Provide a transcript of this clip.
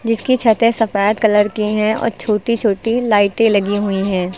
जिसकी छते सफेद कलर की हैं और छोटी छोटी लाइटे लगी हुई हैं।